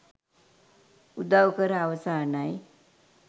උදව් කර අවසානයි.